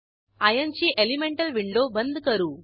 iron ची elemental window बंद करू